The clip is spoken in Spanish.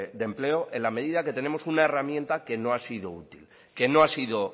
de empleo en la medida que tenemos una herramienta que no ha sido útil que no ha sido